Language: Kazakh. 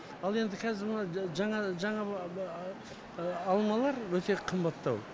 ал енді қазір мына жаңа жаңа алмалар өте қымбаттау